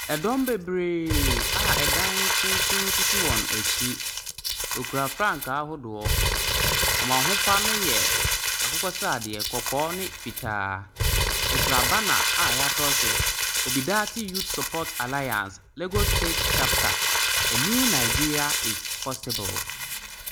Dɔm bebree a dan tenten sisi wɔn akyi, wɔkura frankaa ahodoɔ, wɔn ahofa ne yɛ akokɔsradeɛ, kɔkɔɔ ne fitaa. Wɔkura banner a yɛatwerɛ so Obidate Youth Support Alliance, Lagos State Chapter. A new Nigeria is possible.